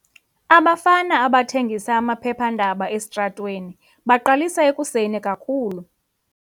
Abafana abathengisa amaphephandaba esitratweni baqalisa ekuseni kakhulu.